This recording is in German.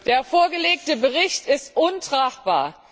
Der vorgelegte Bericht ist untragbar!